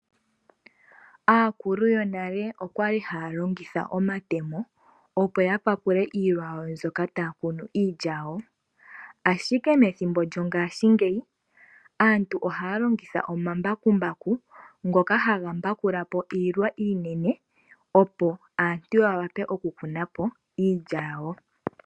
Aakulu yonale oyali haya longitha omatemo, opo ya papule iilwa yawo mbyoka taya kunu iilya yawo. Ashike methimbo lyongaashingeyi, aantu ohaya longitha omambakumbaku ngoka haga mbakula po iilwa iinene, opo aantu ya wape oku kuna po iilya yawo.